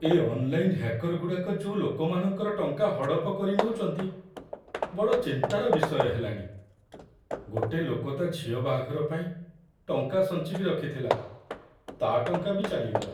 ଏ online ହ୍ୟାକରଗୁଡ଼ାକ ଯୋଉ ଲୋକମାନଙ୍କର ଟଙ୍କା ହଡ଼ପ କରିନଉଚନ୍ତି, ବଡ଼ ଚିନ୍ତାର ବିଷୟ ହେଲାଣି, ଗୋଟେ ଲୋକ ତା' ଝିଅ ବାହାଘର ପାଇଁ ଟଙ୍କା ସଞ୍ଚିକି ରଖିଥିଲା, ତା' ଟଙ୍କା ବି ଚାଲିଗଲା!